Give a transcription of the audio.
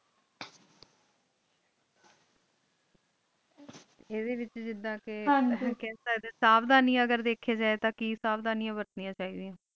ਅੰਦਾ ਵਿਤਚ ਜਿਡਾ ਕਾ ਖਾਂਦਾ ਆ ਸੋਦਾਨਿਆ ਅਗਰ ਕੀ ਨਾ ਸੋਦੀਆਨਾ ਵਖਾਣੀ ਚਾਯੀ ਦਯਾ ਨਾ